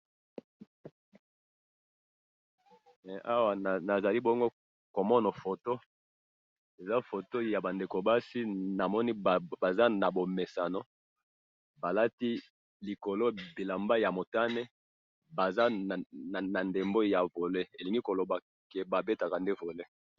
Awa nazali bongo komona photo, eza photo yabandeko basi, namoni Baza nabomesano, balati likolo bilamba yamotane, Baza nandembo ya volé, elingi koloba que babetaka nde volé